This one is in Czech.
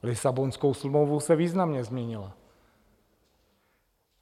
Lisabonskou smlouvou se významně změnila.